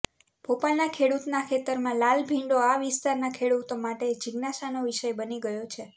ભોપાલના ખેડૂતના ખેતરમાં લાલ ભીંડો આ વિસ્તારના ખેડૂતો માટે જીજ્ઞાશાનો વિષય બની ગયો છે